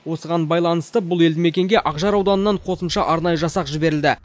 осыған байланысты бұл елді мекенге ақжар ауданынан қосымша арнайы жасақ жіберілді